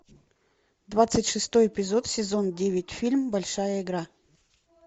двадцать шестой эпизод сезон девять фильм большая игра